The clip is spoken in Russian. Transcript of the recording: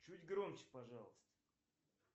чуть громче пожалуйста